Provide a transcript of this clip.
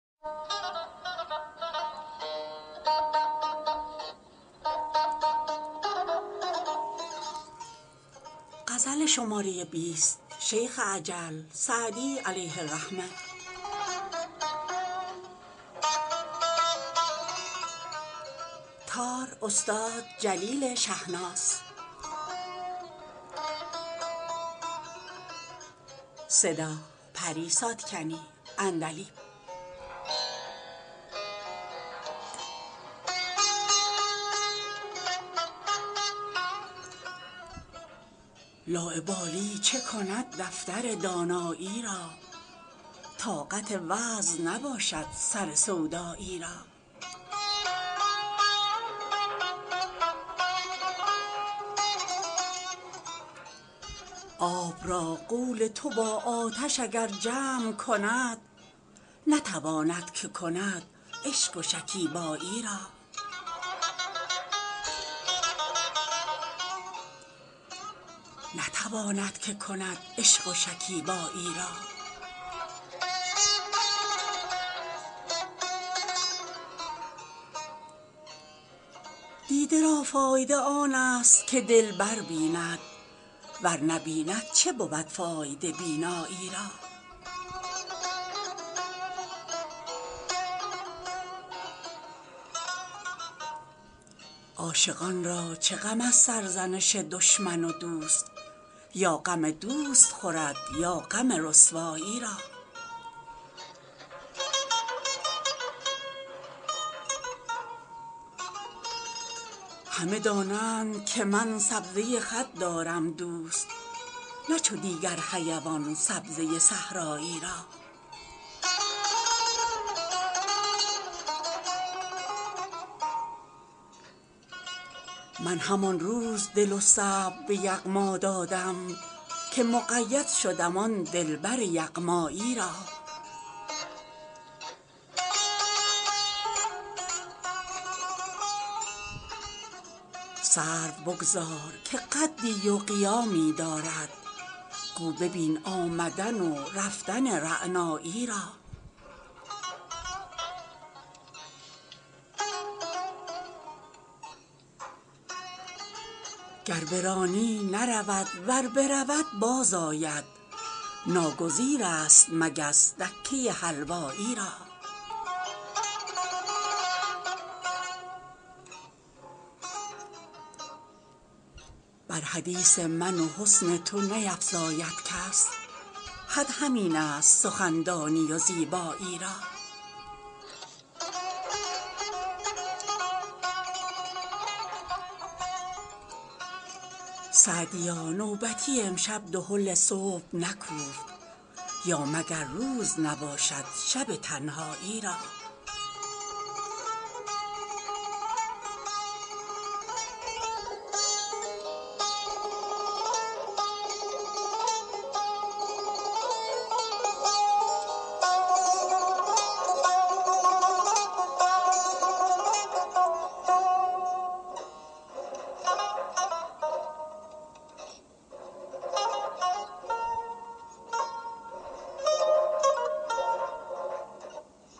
لاابالی چه کند دفتر دانایی را طاقت وعظ نباشد سر سودایی را آب را قول تو با آتش اگر جمع کند نتواند که کند عشق و شکیبایی را دیده را فایده آن است که دلبر بیند ور نبیند چه بود فایده بینایی را عاشقان را چه غم از سرزنش دشمن و دوست یا غم دوست خورد یا غم رسوایی را همه دانند که من سبزه خط دارم دوست نه چو دیگر حیوان سبزه صحرایی را من همان روز دل و صبر به یغما دادم که مقید شدم آن دلبر یغمایی را سرو بگذار که قدی و قیامی دارد گو ببین آمدن و رفتن رعنایی را گر برانی نرود ور برود باز آید ناگزیر است مگس دکه حلوایی را بر حدیث من و حسن تو نیفزاید کس حد همین است سخندانی و زیبایی را سعدیا نوبتی امشب دهل صبح نکوفت یا مگر روز نباشد شب تنهایی را